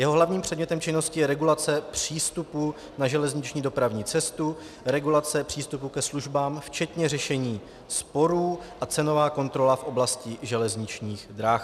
Jeho hlavním předmětem činnosti je regulace přístupu na železniční dopravní cestu, regulace přístupu ke službám včetně řešení sporů a cenová kontrola v oblasti železničních drah.